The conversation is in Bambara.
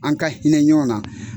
An ka hinɛ ɲɔn na